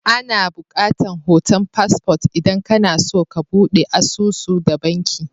Ana bukatan hoton passport idan kana so ka budde asusu da banki.